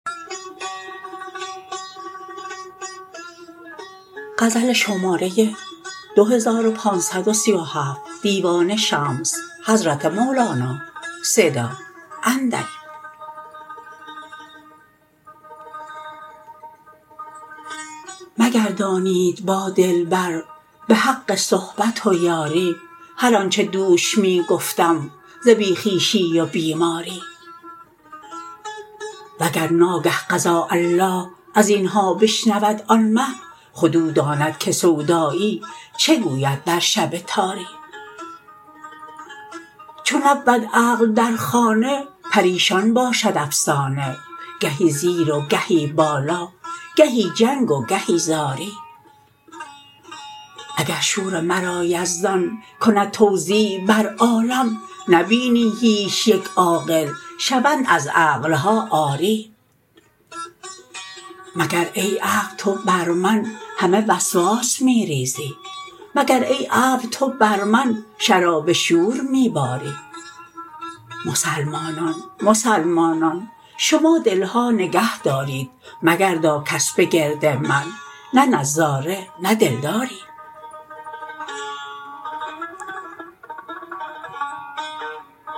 مگردانید با دلبر به حق صحبت و یاری هر آنچ دوش می گفتم ز بی خویشی و بیماری وگر ناگه قضاء الله از این ها بشنود آن مه خود او داند که سودایی چه گوید در شب تاری چو نبود عقل در خانه پریشان باشد افسانه گهی زیر و گهی بالا گهی جنگ و گهی زاری اگر شور مرا یزدان کند توزیع بر عالم نبینی هیچ یک عاقل شوند از عقل ها عاری مگر ای عقل تو بر من همه وسواس می ریزی مگر ای ابر تو بر من شراب شور می باری مسلمانان مسلمانان شما دل ها نگهدارید مگردا کس به گرد من نه نظاره نه دلداری